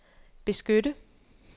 beskytte